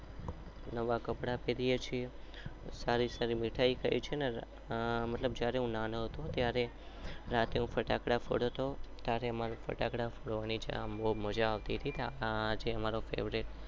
નવા કપડા ફેરિય છીએ. નાના ફટાકડા ફોડતો હતો.